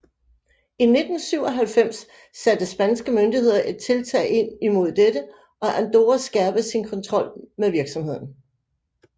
I 1997 satte spanske myndigheder et tiltag ind mod dette og Andorra skærpede sin kontrol med virksomheden